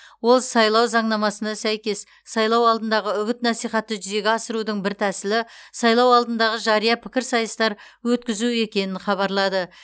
ол сайлау заңнамасына сәйкес сайлау алдындағы үгіт насихатты жүзеге асырудың бір тәсілі сайлау алдындағы жария пікірсайыстар өткізу екенін хабарлады